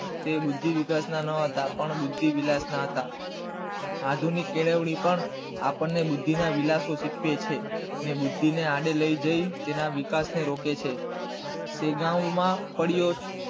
તે વુદ્ધીવિકાસ ના ન હતા પણ બુદ્ધિવિલાસ ના હતા, આધુનિક કેળવણી પણ બુદ્ધિ ના વિલાસો શીખવે છે ને બુદ્ધિ ને આડે લઇ જઈ બુદ્ધિ તેના વિકાસ ને રોકે છે